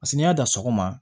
n'i y'a dɔn sɔgɔma